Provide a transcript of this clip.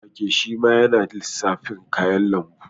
Koren wake shima yana lissafin kayan lambu